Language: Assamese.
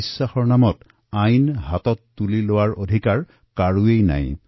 বিশ্বাসৰ নামত আইন হাতত তুলি লোৱাৰ অধিকাৰ কাৰোৰে নাই